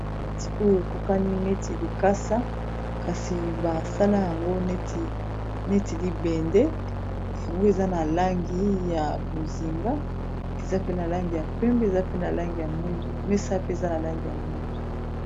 Bakiti oyo ekokani neti likasa kasi basala yango neti libende yango eza na langi ya bozinga eza pe na langi ya pembe mesa pe eza na langi ya mwindu.